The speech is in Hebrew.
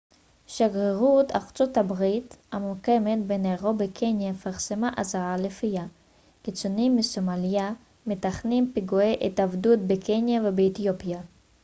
שגרירות ארצות הברית הממוקמת בניירובי קניה פרסמה אזהרה לפיה קיצונים מסומליה מתכננים פיגועי התאבדות בקניה ובאתיופיה